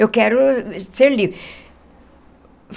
Eu quero ser livre.